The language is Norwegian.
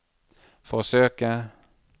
forsøke